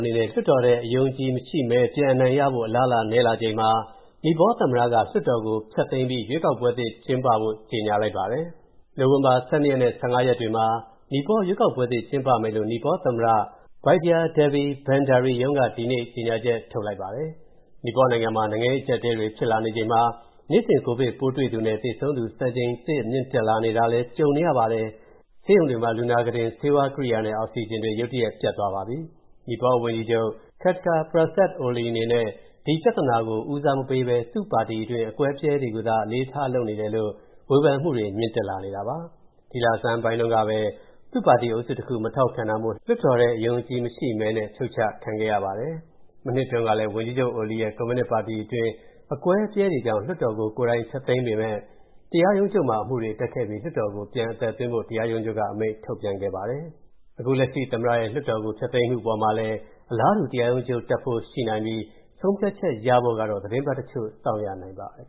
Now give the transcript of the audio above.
နေနဲ့ လွှတ်တော်ထဲ အယုံအကြည်ရှိမဲ ပြန်ရဖို့ အလားအလာ နည်းလာချိန်မှာ နီပေါသမ္မတက လွှတ်တော်ကို ဖျက်သိမ်းပြီး ရွေးကောက်ပွဲသစ် ကျင်းပဖို့ ကြေညာလိုက်ပါတယ်။ နိုဝင်ဘာ ၁၂ ရက်နဲ့ ၁၅ ရက်တွေမှာ နီပေါရွေးကောက်ပွဲသစ် ကျင်းပမယ်လို့ နီပေါသမ္မတ Bidya Devi Bhandari ရုံးက ဒီနေ့ ကြေညာချက် ထုတ်လိုက်ပါတယ်။ နီပေါနိုင်ငံမှာ နိုင်ငံရေးအကျပ်အတည်းတွေ ဖြစ်လာနေချိန်မှာ နေ့စဉ် ကိုဗစ်ပိုးတွေ့သူနဲ့ သေဆုံးသူ စံချိန်တင် မြင့်တက်လာတာလည်း ကြုံနေရပါတယ်။ ဆေးရုံတွေမှာ လူနာခုတင်၊ ဆေးဝါးကိရိယာနဲ့ အောက်ဆီဂျင်တွေ ရုတ်တရက် ပြတ်သွားပါပြီ။ နီပေါဝန်ကြီးချုပ် Khadga Prasad Oli အနေနဲ့ ကိုဗစ်ပြဿနာကို ဦးစားမပေးဘဲ သူ့ပါတီတွင်း အကွဲအပြဲတွေကိုသာ အလေးထား လုပ်နေတယ်လို့ ဝေဖန်မှုတွေ မြင့်တက်လာနေတာပါ။ ဒီလဆန်းတုန်းကပဲ သူ့ပါတီအုပ်စုတခုက မထောက်ခံတာမို့ လွှတ်တော်ထဲ အယုံအကြည်မရှိမဲနဲ့ ဖြုတ်ချခံခဲ့ရပါတယ်။ မနှစ်တုန်းကလည်း ဝန်ကြီးချုပ် Oli ရဲ့ ကွန်မြူနစ်ပါတီအတွင်း အကွဲအပြဲတွေကြောင့် လွှတ်တော်ကို ကိုယ်တိုင်ဖျက်သိမ်းပေမယ့် တရားရုံးချုပ်မှာ အမှုတွေတက်ခဲ့ပြီး လွှတ်တော်ကို ပြန်အသက်သွင်းဖို့ တရားရုံးချုပ်က အမိန့်ပြန်ထုတ်ခဲ့ပါတယ်။ အခုလက်ရှိ သမ္မတရဲ့ လွှတ်တော်ကို ဖျက်သိမ်းမှုအပေါ်မှာလည်း အလားတူ တရားရုံးချုပ်တက်ဖို့ရှိနိုင်ပြီး ဆုံးဖြတ်ချက်ရဖို့ကတော့ သီတင်းပတ်တချို့ စောင့်ရနိုင်ပါတယ်